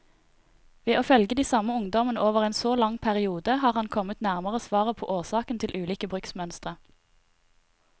Ved å følge de samme ungdommene over en så lang periode, har han kommet nærmere svaret på årsakene til ulike bruksmønstre.